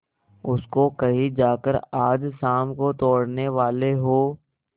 उसको कहीं जाकर आज शाम को तोड़ने वाले हों